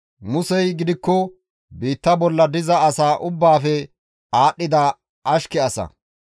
Musey gidikko biitta bolla diza asaa ubbaafe aadhdhida ashke asa.